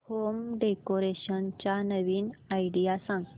home decoration च्या नवीन idea सांग